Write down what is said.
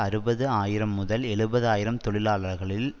அறுபது ஆயிரம்முதல் எழுபது ஆயிரம் தொழிலாளர்களில்